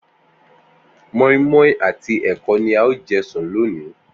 Mó̩ínmó̩ín àti è̩ko̩ ni a óò je̩ sùn lónìí